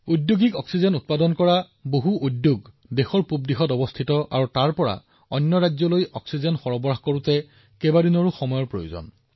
ঔদ্যোগিক অক্সিজেন উৎপাদন কৰা বহুতো কাৰখানা দেশৰ পূব অংশত আছে আৰু তাৰ পৰা আন ৰাজ্যলৈ অক্সিজেন প্ৰেৰণ কৰিবলৈও কেইবাদিনো সময় লাগে